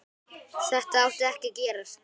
Þetta átti ekki að gerast.